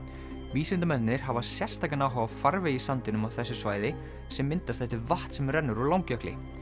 vísindamennirnir hafa sérstakan áhuga á farvegi í sandinum á þessu svæði sem myndast eftir vatn sem rennur úr Langjökli